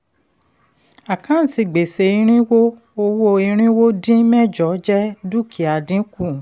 àkáǹtì gbèsè irínwó owó irínwó dín mẹ́jọ jẹ́ dúkìá dínkù.